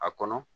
A kɔnɔ